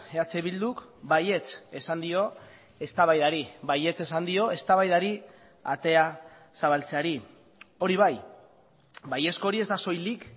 eh bilduk baietz esan dio eztabaidari baietz esan dio eztabaidari atea zabaltzeari hori bai baiezko hori ez da soilik